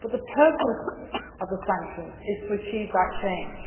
However, the purpose of the sanctions is to achieve that change.